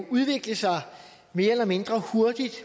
udvikle sig mere eller mindre hurtigt